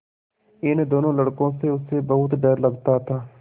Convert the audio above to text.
इन दोनों लड़कों से उसे बहुत डर लगता था